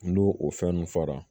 N'o o fɛn ninnu fɔra